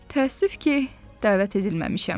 Təəssüf ki, dəvət edilməmişəm.